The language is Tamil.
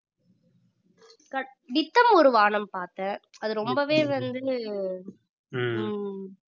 நித்தம் ஒரு வானம் பார்த்தேன் அது ரொம்பவே வந்து ஹம்